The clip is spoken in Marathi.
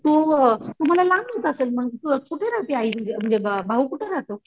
तू तुम्हाला लांब होत असेल मग कुठे राहते आई तुझी म्हणजे भाऊ कुठं राहतो ?